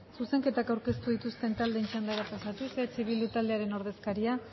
zuzenketak aurkeztu dituzten taldeen txandara pasatuz eh bildu taldearen ordezkaria